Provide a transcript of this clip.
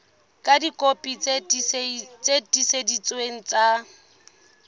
ka dikopi tse tiiseleditsweng tsa